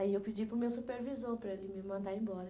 Aí eu pedi para o meu supervisor para ele me mandar embora.